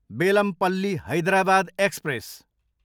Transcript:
Bellampalli, Hyderabad express